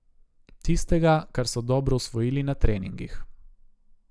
Tistega, kar so dobro usvojili na treningih.